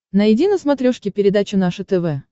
найди на смотрешке передачу наше тв